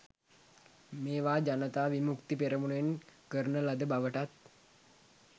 මේවා ජනතා විමුක්ති පෙරමුණෙන් කරන ලද බවටත්